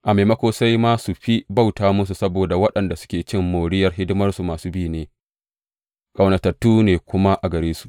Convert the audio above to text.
A maimako, sai ma su fi bauta musu, saboda waɗanda suke cin moriyar hidimarsu masu bi ne, ƙaunatattu ne kuma a gare su.